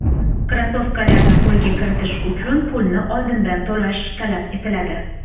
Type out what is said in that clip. Krossovkalarni qo‘lga kiritish uchun pulni oldindan to‘lash talab etiladi.